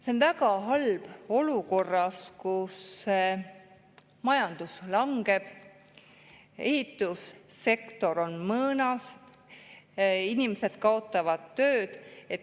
See on väga halb olukorras, kus majandus langeb, ehitussektor on mõõnas, inimesed kaotavad töö.